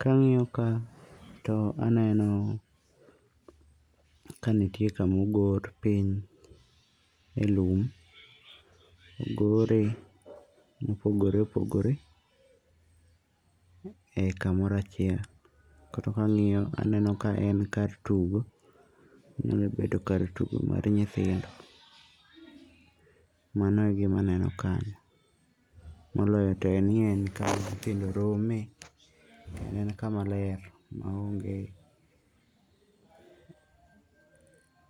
Ka ang'iyo ka to aneno ka nitie kamogor piny e lowo. Ogore mopogore opogore e kamoro achiel. Koro ka ang'iyo aneno ka en kar tugo. Onyalo bedo kar tugo mar nyithindo. Mano e gima aneno kanyo. Moloyo to ni en kama nyithindo romoe. En kama ler ma onge